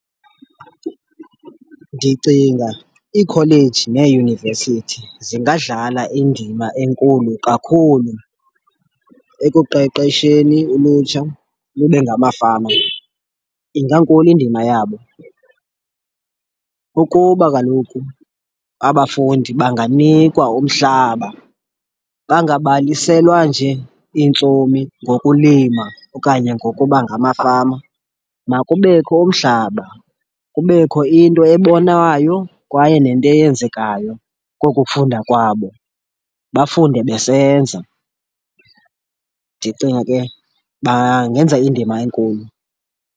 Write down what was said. Ndicinga iikholeji neeyunivesithi zingadlala indima enkulu kakhulu ekuqeqesheni ulutsha lube ngamafama, ingankulu indima yabo. Ukuba kaloku abafundi banganikwa umhlaba, bangabaliselwa nje iintsomi ngokulima okanye ngokuba ngamafama. Makubekho umhlaba kubekho into ebonwayo kwaye nento eyenzekayo kokukufunda kwabo, bafunde besenza. Ndicinga ke bangenza indima enkulu.